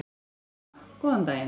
Kona: Góðan daginn.